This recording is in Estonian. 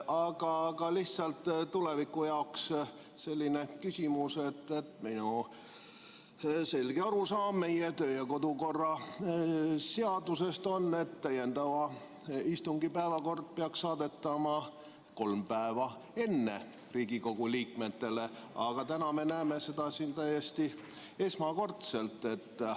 Aga lihtsalt tuleviku jaoks on mul küsimus, et minu selge arusaam meie kodu- ja töökorra seadusest on selline, et täiendava istungi päevakord peaks saadetama Riigikogu liikmetele kolm päeva enne istungit, aga täna me näeme seda siin esimest korda.